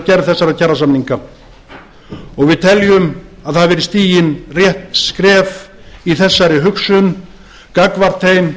gerð þessara kjarasamninga og við teljum að það hafi verið stigin rétt skref í þessari hugsun gagnvart þeim